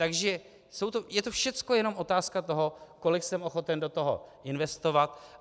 Takže je to všecko jenom otázka toho, kolik jsem ochoten do toho investovat.